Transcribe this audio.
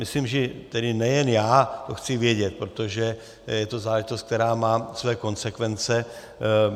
Myslím, že nejen já to chci vědět, protože je to záležitost, která má svoje konsekvence.